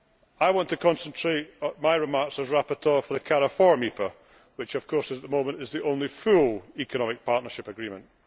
I want to concentrate my remarks as rapporteur for the Cariforum EPA, which of course, at the moment, is the only full Economic Partnership Agreement.